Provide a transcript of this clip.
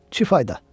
Çi fayda?